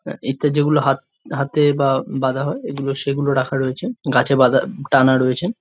এতে যেগুলো হাত হাতে বা বাধা হয় এগুলো সেগুলো রাখা রয়েছে গাছে বাধা টানা রয়েছে ।